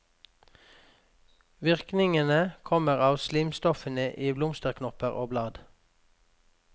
Virkningen kommer av slimstoffene i blomsterknopper og blad.